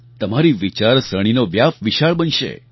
તમારી વિચારસરણીનો વ્યાપ વિશાળ બનશે